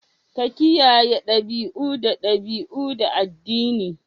Kiyaye dabi'u da dabi'u na addini